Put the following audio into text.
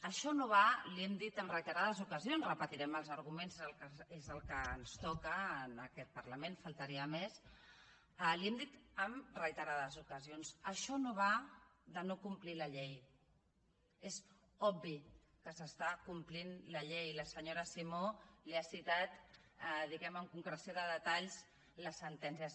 això no va li hem dit en reiterades ocasions repetirem els arguments perquè el que ens toca en aquest parlament faltaria més que això no va de no complir la llei és obvi que s’està complint la llei i la senyora simó li ha citat diguem ne amb concreció de detalls les sentències